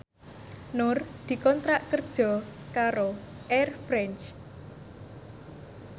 Nur dikontrak kerja karo Air France